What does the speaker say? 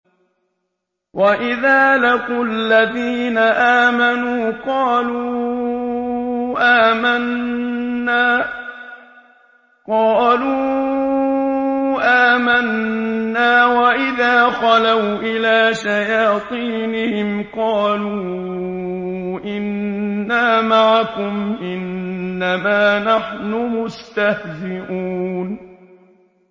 وَإِذَا لَقُوا الَّذِينَ آمَنُوا قَالُوا آمَنَّا وَإِذَا خَلَوْا إِلَىٰ شَيَاطِينِهِمْ قَالُوا إِنَّا مَعَكُمْ إِنَّمَا نَحْنُ مُسْتَهْزِئُونَ